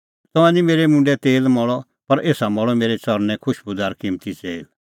तंऐं निं मेरै मुंडै तेल मल़अ पर एसा मल़अ मेरै च़रणैं खुशबूदार किम्मती तेल